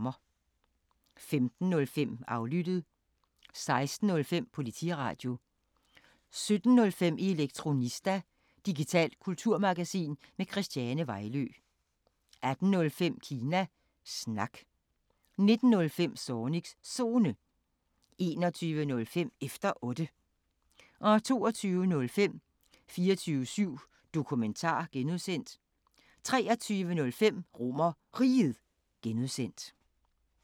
15:05: Aflyttet 16:05: Politiradio 17:05: Elektronista – digitalt kulturmagasin med Christiane Vejlø 18:05: Kina Snak 19:05: Zornigs Zone 21:05: Efter Otte 22:05: 24syv Dokumentar (G) 23:05: RomerRiget (G)